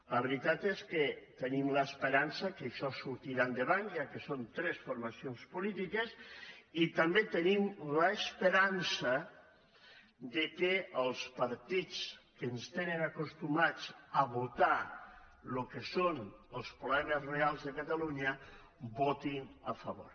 la veritat és que tenim l’esperança que això sortirà endavant ja que són tres formacions polítiques i també tenim l’esperança que els partits que ens tenen acostumats a votar el que són els problemes reals de catalunya votin a favor